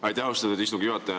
Aitäh, austatud istungi juhataja!